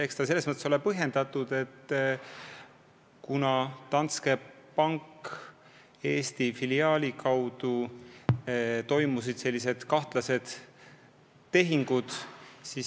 Eks see ole põhjendatud, kuna Danske Banki Eesti filiaali kaudu toimusid kahtlased tehingud.